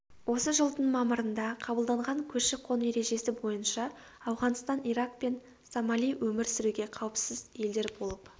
осы жылдың мамырында қабылданған көші-қон ережесі бойынша ауғанстан ирак пен сомали өмір сүруге қауіпсіз елдер болып